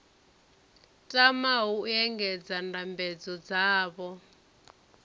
tamaho u engedza ndambedzo dzavho